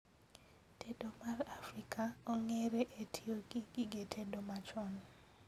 Tedo mar Afrika ong'ere e tiyogi gige tedo machon